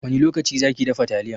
Wani lokaci zaki dafa taliyan?